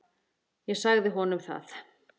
Ég sagði honum það.